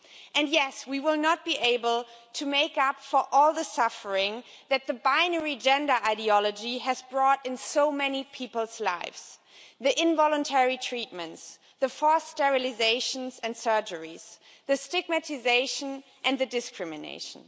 And yes, we will not be able to make up for all the suffering that the binary gender ideology has wrought in so many people's lives the involuntary treatments, the forced sterilisation and surgical procedures, the stigmatisation and the discrimination.